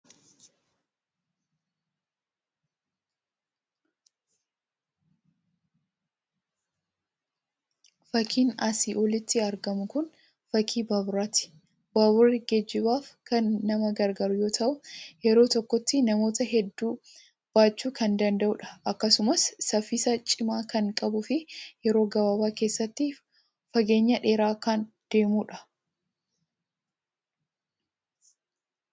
Fakii asiin olitti argamu kun fakii baaburaati. Baaburri geejjibaaf kan nama gargaaru yoo ta'u yeroo tokkotti namoota hedduu baachuu kan danda'udha. Akkasumas saffisa cimaa kan qabuu fi yeroo gabaabaa keessatti fageenya dheeraa kan deemudha.